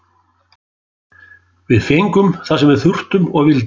Við fengum það sem við þurftum og vildum.